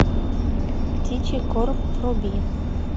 птичий корм вруби